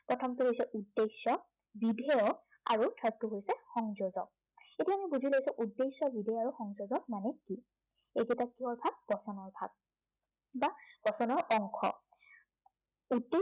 প্ৰথমটো হৈছে উদ্দেশ্য়, বিধেয় আৰু third টো হৈছে সংযোজন।